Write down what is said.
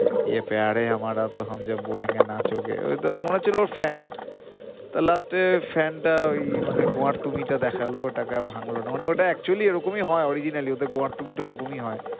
ঐতো মনে হচ্ছিলো ওর fan তা last এ fan টা ওই মানে গোয়ার্তুমি টা দেখালো ওটা কে আর ভাঙলো না, মানে ওটা কে actually এ রকমই হয় originally ওদের গোয়ার্তুমি টা ওইরকমই হয়,